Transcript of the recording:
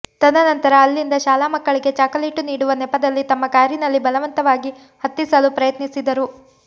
ತದನಂತರ ಅಲ್ಲಿಂದ ಶಾಲಾ ಮಕ್ಕಳಿಗೆ ಚಾಕಲೇಟು ನೀಡುವ ನೆಪದಲ್ಲಿ ತಮ್ಮ ಕಾರಿನಲ್ಲಿ ಬಲವಂತವಾಗಿ ಹತ್ತಿಸಲು ಪ್ರಯತ್ನಿಸಿದರು